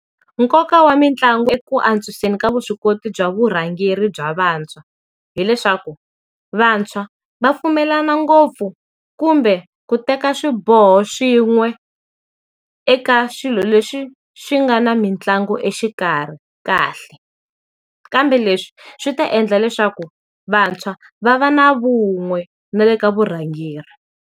Nkoka wa mitlangu eku antswiseni ka vuswikoti bya vurhangeri bya vantshwa hileswaku, vantshwa va pfumelana ngopfu kumbe ku teka swiboho swin'we eka swilo leswi swi nga na mitlangu exikarhi kahle. Kambe leswi swi ta endla leswaku vantshwa va va na vun'we na le ka vurhangeri.